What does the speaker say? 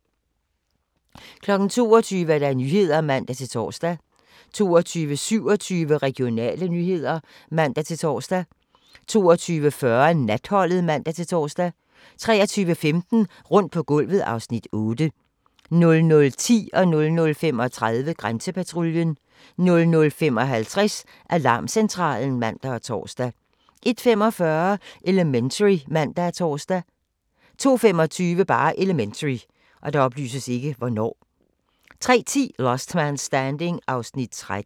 22:00: Nyhederne (man-tor) 22:27: Regionale nyheder (man-tor) 22:45: Natholdet (man-tor) 23:15: Rundt på gulvet (Afs. 8) 00:10: Grænsepatruljen 00:35: Grænsepatruljen 00:55: Alarmcentralen (man og tor) 01:45: Elementary (man og tor) 02:25: Elementary 03:10: Last Man Standing (13:24)